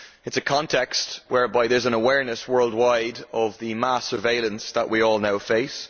It is a context whereby there is an awareness worldwide of the mass surveillance that we all now face.